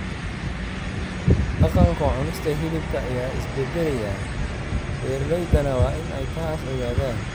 Dhaqanka cunista hilibka ayaa isbedelaya, beeralaydana waa in ay taas ogaadaan.